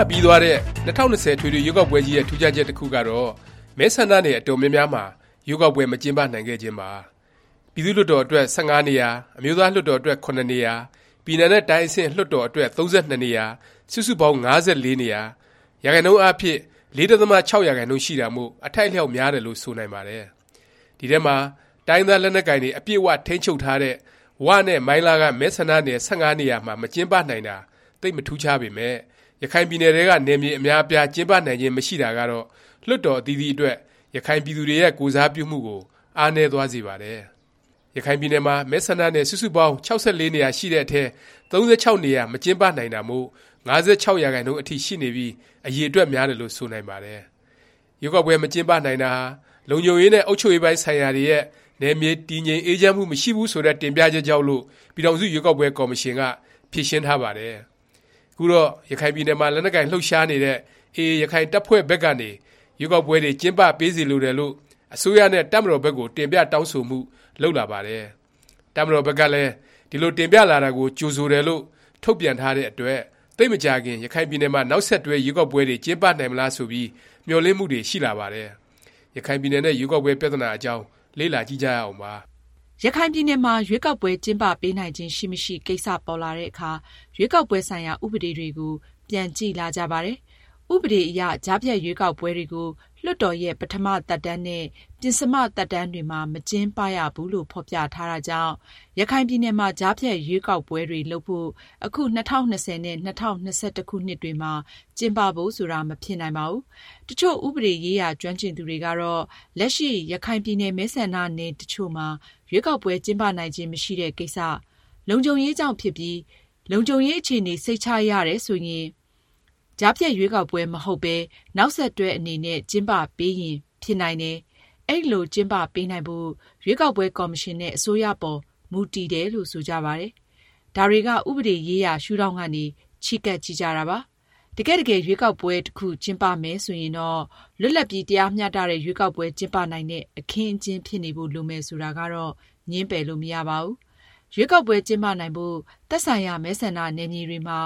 ပပြီးသွားတဲ့ ၂၀၂၀ အထွေထွေ ရွေးကောက်ပွဲကြီးရဲ့ ထူးခြားချက် တစ်ခုကတော့ မဲဆန္ဒနယ် အတော်များများမှာ ရွေးကောက်ပွဲ မကျင်းပနိုင်ခဲ့ခြင်းပါ။ ပြည်သူ့လွှတ်တော် အတွက် ၁၅ နေရာ၊ အမျိုးသားလွှတ်တော် အတွက် ၇ နေရာ၊ ပြည်နယ်နဲ့တိုင်းအဆင့် လွှတ်တော် အတွက် ၃၂ နေရာ စုစုပေါင်း ၅၄ နေရာ၊ ရာခိုင်နှုန်းအားဖြင့် ၄.၆% ရှိတာမို့ အထိုက်အလျောက် များတယ်လို့ ဆိုနိုင်ပါတယ်။ ဒီအထဲမှာ တိုင်းရင်းသား လက်နက်ကိုင်တွေ အပြည့်အ၀ ထိန်းချုပ်ထားတဲ့ ဝနဲ့ မိုင်းလားက မဲဆန္ဒနယ် ၁၅ နေရာမှာ မကျင်းပနိုင်တာ သိပ် မထူးခြားပေမယ့် ရခိုင်ပြည်နယ်ထဲက နယ်မြေ အများအပြား ကျင်းပနိုင်ခြင်း မရှိတာကတော့ လွှတ်တော် အသီးသီးအတွက် ရခိုင်ပြည်သူတွေရဲ့ ကိုယ်စားပြုမှုကို အားနည်းသွားစေပါတယ်။ ရခိုင်ပြည်နယ်မှာ မဲဆန္ဒနယ် စုစုပေါင်း ၆၄ နေရာရှိတဲ့အထဲ ၃၆ နေရာ မကျင်းပနိုင်တာမို့ ၅၆%အထိ ရှိနေပြီး အရည်အတွက် များတယ်လို့ ဆိုနိုင်ပါတယ်။ ရွေးကောက်ပွဲ မကျင်းပနိုင်တာဟာ လုံခြုံရေးနဲ့ အုပ်ချုပ်ရေးပိုင်း ဆိုင်ရာတွေရဲ့ နယ်မြေ တည်ငြိမ်အေးချမ်းမှု မရှိဘူး ဆိုတဲ့ တင်ပြချက်ကြောင့်လို့ ပြည်ထောင်စု ရွေးကောက်ပွဲ ကော်မရှင်က ဖြေရှင်းထားပါတယ်။ ခုတော့ ရခိုင်ပြည်နယ်မှာ လက်နက်ကိုင် လှုပ်ရှားနေတဲ့ AA ရခိုင်တပ်ဖွဲ့ဘက်ကနေ ရွေးကောက်ပွဲတွေ ကျင်းပပေးစေလိုတယ်လို့ အစိုးရနဲ့ တပ်မတော်ဘက်ကို တင်ပြတောင်းဆိုမှု လုပ်လာပါတယ်။ တပ်မတော်ဘက်ကလည်း ဒီလို တင်ပြလာတာကို ကြိုဆိုတယ်လို့ ထုတ်ပြန်ထားတဲ့အတွက် သိပ်မကြာခင် ရခိုင်ပြည်နယ်မှာ နောက်ဆက်တွဲ ရွေးကောက်ပွဲတွေ ကျင်းပနိုင်မလား ဆိုပြီး မျှော်လင့်မှုတွေ ရှိလာပါတယ်။ ရခိုင်ပြည်နယ်နဲ့ ရွေးကောက်ပွဲ ပြသနာအကြောင်း လေ့လာကြည့်ကြရအောင်ပါ။ ရခိုင်ပြည်နယ်မှာ ရွေးကောက်ပွဲ ကျင်းပပေးနိုင်ခြင်း ရှိမရှိ ကိစ္စပေါ်လာတဲ့အခါ ရွေးကောက်ပွဲ ဆိုင်ရာ ဥပဒေတွေကို ပြန်ကြည့်လာကြပါတယ်။ ဥပဒေအရ ကြားဖြတ်ရွေးကောက်ပွဲတွေကို လွှတ်တော်ရဲ့ ပထမ သက်တမ်းနဲ့ ပဉ္စမ သက်တမ်းတွေမှာ မကျင်းပရဘူးလို့ ဖော်ပြထားတာကြောင့် ရခိုင်ပြည်နယ်မှာ ကြားဖြတ်ရွေးကောက်ပွဲတွေ လုပ်ဖို့ အခု ၂၀၂၀ နဲ့ ၂၀၂၁ ခုနှစ်တွေမှာ ကျင်းပဖို့ဆိုတာ မဖြစ်နိုင်ပါဘူး။ တစ်ချို့ ဥပဒေရေးရာ ကျွမ်းကျင်သူတွေကတော့ လက်ရှိ ရခိုင်ပြည်နယ် မဲဆန္ဒနယ် တစ်ချို့မှာ ရွေးကောက်ပွဲ ကျင်းပနိုင်ခြင်း မရှိတဲ့ ကိစ္စ၊ လုံခြုံရေးကြောင့် ဖြစ်ပြီး လုံခြုံရေးအခြေအနေ စိတ်ချရတယ် ဆိုရင် ကြားဖြတ် ရွေးကောက်ပွဲ မဟုတ်ပဲ နောက်ဆက်တွဲ အနေနဲ့ ကျင်းပပေးရင် ဖြစ်နိုင်တယ်၊ အဲလို ကျင်းပပေးနိုင်ဖို့ ရွေးကောက်ပွဲ ကော်မရှင် နဲ့ အစိုးရအပေါ် မူတည်တယ်လို့ ဆိုကြပါတယ်။ ဒါတွေက ဥပဒေရေးရာ ရှုဒေါင့်ကနေ ချဉ်းကပ် ကြည့်ကြတာပါ။ တကယ့်တကယ် ရွေးကောက်ပွဲ တစ်ခု ကျင်းပမယ် ဆိုရင်တော့ လွတ်လပ်ပြီး တရားမျှတတဲ့ ရွေးကောက်ပွဲ ကျင်းပနိုင်တဲ့ အခင်းအကျင်း ဖြစ်နေဖို့ လိုမယ် ဆိုတာကတော့ ငြင်းပယ်လို့ မရပါဘူး။ ရွေးကောက်ပွဲ ကျင်းပနိုင်ဖို့ သက်ဆိုင်ရာ မဲဆန္ဒနယ်မြေတွေမှာ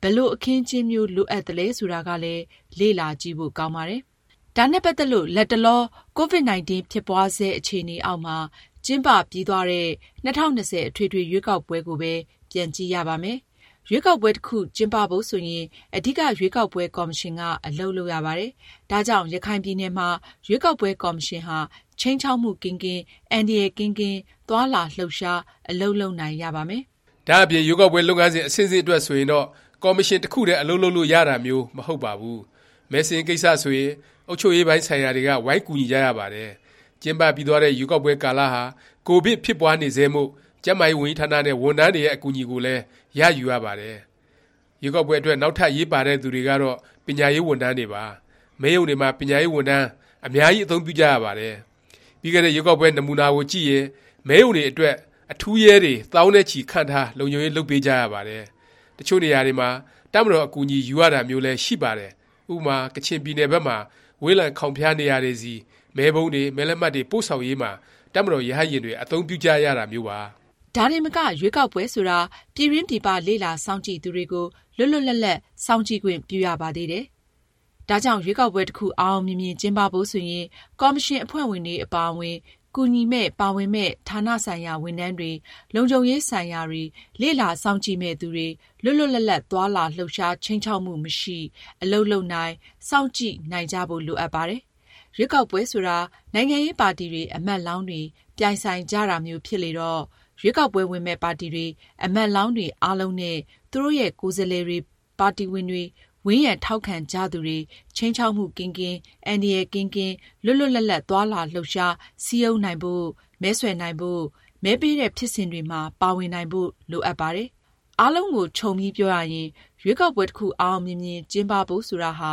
ဘယ်လို အခင်းအကျင်းမျိုး လိုအပ်သလဲ ဆိုတာကလည်း လေ့လာကြည့်ဖို့ ကောင်းပါတယ်။ ဒါနဲ့ ပတ်သက်လို့ လတ်တလော ကိုဗစ်-19 ဖြစ်ပွားဆဲ အခြေအနေအောက်မှာ ကျင်းပပြီးသွားတဲ့ ၂၀၂၀ အထွေထွေ ရွေးကောက်ပွဲကိုပဲ ပြန်ကြည့်ရပါမယ်။ ရွေးကောက်ပွဲ တစ်ခု ကျင်းပဖို့ ဆိုရင် အဓိက ရွေးကောက်ပွဲ ကော်မရှင်က အလုပ်လုပ်ရပါတယ်။ ဒါကြောင့် ရခိုင်ပြည်နယ်မှာ ရွေးကောက်ပွဲ ကော်မရှင်ဟာ ခြိမ်းခြောက်မှု ကင်းကင်း၊ အန္တရာယ်ကင်းကင်း သွားလာ လှုပ်ရှား အလုပ်လုပ်နိုင်ရပါမယ်။ ဒါ့အပြင် ရွေးကောက်ပွဲ လုပ်ငန်းစဉ် အဆင့်ဆင့်အတွက် ဆိုရင်တော့ ကော်မရှင် တစ်ခုတည်း အလုပ်လုပ်လို့ ရတာမျိုး မဟုတ်ပါဘူး။ မဲစာရင်းကိစ္စ ဆိုရင် အုပ်ချုပ်ရေးပိုင်းဆိုင်ရာတွေက ဝိုင်းကူညီကြရပါတယ်။ ကျင်းပပြီးသွားတဲ့ ရွေးကောက်ပွဲ ကာလဟာ ကိုဗစ် ဖြစ်ပွားနေဆဲမို့ ကျန်းမာရေးဝန်ကြီးဌာနနဲ့ ဝန်ထမ်းတွေရဲ့ အကူအညီကိုလည်း ရယူရပါတယ်။ ရွေးကောက်ပွဲအတွက် နောက်ထပ် အရေးပါတဲ့သူတွေကတော့ ပညာရေး ဝန်ထမ်းတွေပါ။ မဲရုံတွေမှာ ပညာရေးဝန်ထမ်း အများကြီး အသုံးပြုကြရပါတယ်။ ပြီးခဲ့တဲ့ ရွေးကောက်ပွဲ နမူနာကိုကြည့်ရင် မဲရုံတွေအတွက် အထူးရဲတွေ သောင်းနဲ့ချီ ခန့်ထား လုံခြုံရေး လုပ်ပေးကြရပါတယ်။ တစ်ချို့နေရာတွေမှာ တပ်မတော် အကူအညီ ယူရတာမျိုးလည်း ရှိပါတယ်။ ဥပမာ ကချင်ပြည်နယ် ဘက်မှာ ဝေးလံခေါင်ဖျား နေရာတွေဆီ မဲပုံးတွေ၊မဲလက်မှတ်တွေ ပို့ဆောင်ရေးမှာ တပ်မတော် ရဟတ်ယာဉ်တွေ အသုံးပြုကြရတာမျိုးပါ။ ဒါတင်မက ရွေးကောက်ပွဲဆိုတာ ပြည်တွင်း ပြည်ပ လေ့လာစောင့်ကြည့်သူတွေကို လွတ်လွတ်လပ်လပ် စောင့်ကြည့်ခွင့်ပြုရပါသေးတယ်။ ဒါကြောင့် ရွေးကောက်ပွဲ တစ်ခု အောင်အောင်မြင်မြင် ကျင်းပဖို့ ဆိုရင် ကော်မရှင် အဖွဲ့ဝင်တွေ အပါအဝင် ကူညီမယ့်၊ ပါဝင်မယ့် ဌာနဆိုင်ရာ ဝန်ထမ်းတွေ၊လုံခြုံရေး ဆိုင်ရာတွေ၊ လေ့လာစောင့်ကြည့်မယ့်သူတွေ လွတ်လွတ်လပ်လပ် သွားလာ လှုပ်ရှား၊ ခြိမ်းခြောက်မှု မရှိ အလုပ်လုပ်နိုင်၊ စောင့်ကြည့်နိုင်ကြဖို့ လိုအပ်ပါတယ်။ ရွေးကောက်ပွဲဆိုတာ နိုင်ငံရေးပါတီတွေ၊ အမတ်လောင်းတွေ ပြိုင်ဆိုင်ကြတာမျိုး ဖြစ်လေတော့ ရွေးကောက်ပွဲ ဝင်မယ့် ပါတီတွေ၊ အမတ်လောင်းတွေ အားလုံးနဲ့ သူတို့ရဲ့ ကိုယ်စားလှယ်တွေ၊ ပါတီဝင်တွေ၊ ဝန်းရံထောက်ခံကြသူတွေ ခြိမ်းခြောက်မှုကင်းကင်း၊ အန္တရာယ်ကင်းကင်း၊ လွတ်လွတ်လပ်လပ် သွားလာလှုပ်ရှား၊ စည်းရုံးနိုင်ဖို့၊ မဲဆွယ်နိုင်ဖို့၊ မဲပေးတဲ့ ဖြစ်စဉ်တွေမှာ ပါဝင်နိုင်ဖို့ လိုအပ်ပါတယ်။ အားလုံးကို ခြုံပြီးပြောရရင် ရွေးကောက်ပွဲ တစ်ခု အောင်အောင်မြင်မြင် ကျင်းပဖို့ ဆိုတာဟာ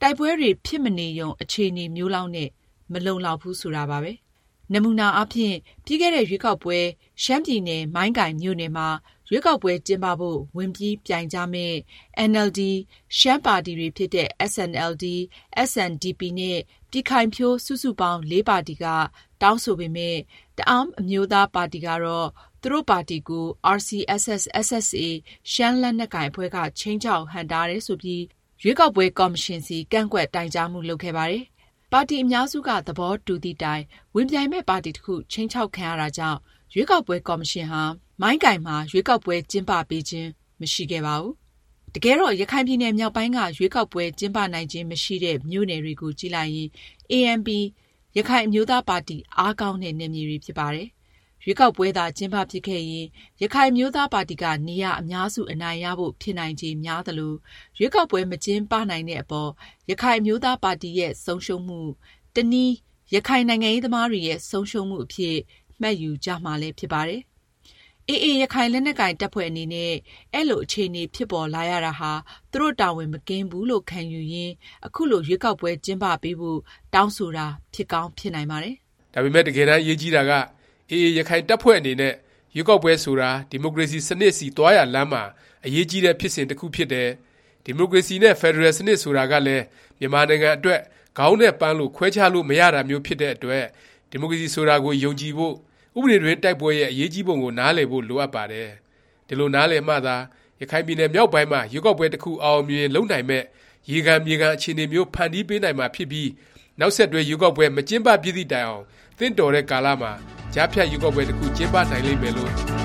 တိုက်ပွဲတွေ ဖြစ်မနေရုံ အခြေအနေမျိုးလောက်နဲ့ မလုံလောက်ဘူး ဆိုတာပါပဲ။ နမူနာအားဖြင့် ပြီးခဲ့တဲ့ ရွေးကောက်ပွဲ ရှမ်းပြည်နယ် မိုင်းကိုင်မြို့နယ်မှာ ရွေးကောက်ပွဲ ကျင်းပပေးဖို့ ဝင်ပြီးပြိုင်ကြမယ့် NLD, ရှမ်းပါတီတွေဖြစ်တဲ့ SNLD, SNDP နဲ့ ပြည်ခိုင်ဖြိုး စုစုပေါင်း ပါတီက တောင်းဆိုပေမယ့် တအဲန်းအမျိုးသားပါတီကတော့ သူတို့ပါတီကို RCSS/SSA ရှမ်းလက်နက်ကိုင်အဖွဲ့က ခြိမ်းခြောက် ဟန့်တားတယ် ဆိုပြီး ရွေးကောက်ပွဲ ကော်မရှင်ဆီ ကန့်ကွက်တိုင်ကြားမှု လုပ်ခဲ့ပါတယ်။ ပါတီ အများစုက သဘောတူသည့်တိုင် ဝင်ပြိုင်မယ့် ပါတီတစ်ခု ခြိမ်းခြောက်ခံရတာကြောင့် ရွေးကောက်ပွဲ ကော်မရှင်ဟာ မိုင်းကိုင်မှာ ရွေးကောက်ပွဲ ကျင်းပပေးခြင်း မရှိခဲ့ပါဘူး။ တကယ်တော့ ရခိုင်ပြည်နယ်မြောက်ပိုင်းက ရွေးကောက်ပွဲ ကျင်းပနိုင်ခြင်း မရှိတဲ့ မြို့နယ်တွေကိုကြည့်လိုက်ရင် ANP ရခိုင်အမျိုးသားပါတီ အားကောင်းတဲ့ နယ်မြေတွေ ဖြစ်ပါတယ်။ ရွေးကောက်ပွဲသာ ကျင်းပဖြစ်ခဲ့ရင် ရခိုင်အမျိုးသားပါတီက နေရာ အများစု အနိုင်ရဖို့ ဖြစ်နိုင်ခြေ များသလို ရွေးကောက်ပွဲ မကျင်းပနိုင်တဲ့အပေါ် ရခိုင်အမျိုးသားပါတီရဲ့ ဆုံးရှုံးမှု၊ တစ်နည်း ရခိုင်နိုင်ငံရေးသမားတွေရဲ့ ဆုံးရှုံးမှုအဖြစ် မှတ်ယူကြမှာလည်း ဖြစ်ပါတယ်။ AA ရခိုင် လက်နက်ကိုင် တပ်ဖွဲ့အနေနဲ့ အဲလို အခြေအနေ ဖြစ်ပေါ်လာရတာဟာ သူတို့တာဝန် မကင်းဘူးလို့ ခံယူရင်း ခုလို ရွေးကောက်ပွဲ ကျင်းပပေးဖို့ တောင်းဆိုတာ ဖြစ်ကောင်း ဖြစ်နိုင်ပါတယ်။ ဒါပေမယ့် တကယ်တမ်း အရေးကြီးတာက AA ရခိုင်တပ်ဖွဲ့အနေနဲ့ ရွေးကောက်ပွဲဆိုတာ ဒီမိုကရေစီ စနစ်ဆီ သွားရာလမ်းမှာ အရေးကြီးတဲ့ ဖြစ်စဉ်တစ်ခု ဖြစ်တယ်၊ ဒီမိုကရေစီ နဲ့ ဖက်ဒရယ်စနစ် ဆိုတာကလည်း မြန်မာနိုင်ငံအတွက် ခေါင်းနဲ့ ပန်းလို ခွဲခြားလို့ မရတာမျိုး ဖြစ်တဲ့အတွက် ဒီမိုကရေစီ ဆိုတာကို ယုံကြည်ဖို့၊ ဥပဒေတွင်း တိုက်ပွဲရဲ့ အရေးကြီးပုံကို နားလည်ဖို့ လိုအပ်ပါတယ်။ ဒီလို နားလည်မှသာ ရခိုင်ပြည်နယ်မြောက်ပိုင်းမှာ ရွေးကောက်ပွဲ တစ်ခု အောင်အောင်မြင်မြင် လုပ်နိုင်မယ့် ရေခံ မြေခံ အခြေအနေမျိုး ဖန်တီးပေးနိုင်မှာ ဖြစ်ပြီး နောက်ဆက်တွဲ ရွေးကောက်ပွဲ မကျင်းပဖြစ်သည့်တိုင်အောင် သင့်တော်တဲ့ကာလမှာ ကြားဖြတ်ရွေးကောက်ပွဲ တစ်ခု ကျင်းပနိုင်လိမ့်မယ်လို့ မျှော်